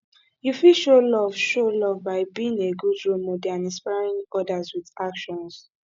you fit show love show love by being a good role model and inspring others with actions